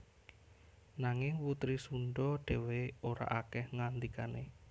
Nanging putri Sundha dhéwé ora akèh ngandikané